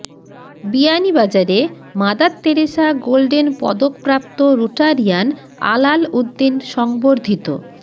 বিয়ানীবাজারে Mother Teresa golden পদকপ্রাপ্ত Rotarian Alal Uddin সংবর্ধিত